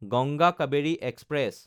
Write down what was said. Ganga Kaveri express